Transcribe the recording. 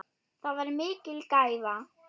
Það var mikil gæfa.